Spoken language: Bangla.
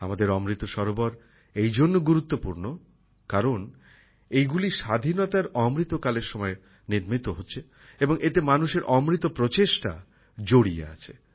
আমাদের অমৃত সরোবর এইজন্য গুরুত্বপূর্ণ কারণ এইগুলি স্বাধীনতার অমৃত কালের সময় নির্মিত হচ্ছে এবং এতে মানুষের অমৃত প্রচেষ্টা জড়িয়ে আছে